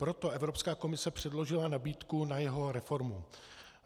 Proto Evropská komise předložila nabídku na jeho reformu.